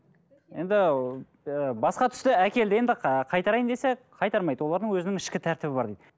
енді ы басқа түсті әкелді енді ы қайтарайын десе қайтармайды олардың өзінің ішкі тәртібі бар дейді